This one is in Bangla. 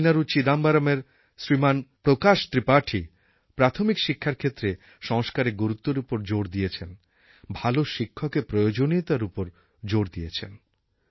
তামিলনাড়ুর চিদাম্বরমের শ্রীমান প্রকাশ ত্রিপাঠী প্রাথমিক শিক্ষার ক্ষেত্রে সংস্কারের গুরুত্বের উপর জোর দিয়েছেন ভাল শিক্ষকের প্রয়োজনীয়তার ওপর জোর দিয়েছেন